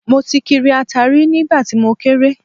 Mo ti kiri ata rí nígbà tí mo kéré